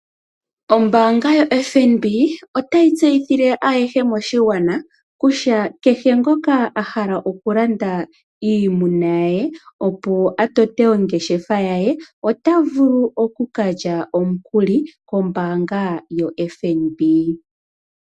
Ombaanga yo FNB otayi tseyithile ayehe moshigwana kutya kehe ngoka a hala okulanda iimuna ye, opo a tote ongeshefa ya ye, ota vulu okukalya omukuli kombaanga yo FNB.